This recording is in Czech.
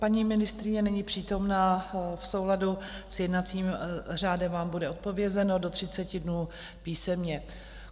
Paní ministryně není přítomna, v souladu s jednacím řádem vám bude odpovězeno do 30 dnů písemně.